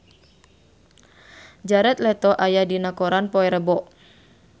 Jared Leto aya dina koran poe Rebo